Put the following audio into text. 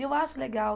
E eu acho legal.